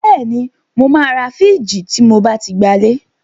Bẹ́ẹ̀ni, mo máa ra fìíjìì tí mo bá ti gbalé.